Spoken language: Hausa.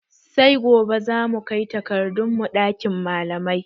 Sai gobe zamu kai takardun mu ɗakin malamai